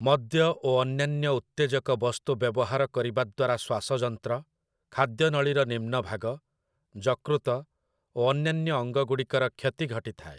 ମଦ୍ୟ ଓ ଅନ୍ୟାନ୍ୟ ଉତ୍ତେଜକ ବସ୍ତୁ ବ୍ୟବହାର କରିବା ଦ୍ଵାରା ଶ୍ଵାସଯନ୍ତ୍ର, ଖାଦ୍ୟନଳୀର ନିମ୍ନଭାଗ, ଯକୃତ ଓ ଅନ୍ୟାନ୍ୟ ଅଙ୍ଗଗୁଡ଼ିକର କ୍ଷତି ଘଟିଥାଏ ।